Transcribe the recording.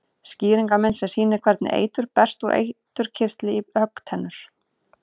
Skýringarmynd sem sýnir hvernig eitur berst úr eiturkirtli í höggtennur.